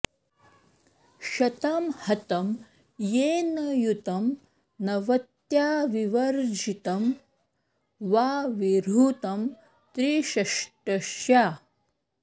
शतं हतं येन युतं नवत्या विवर्ज्जितं वा विहृतं त्रिषष्ट्या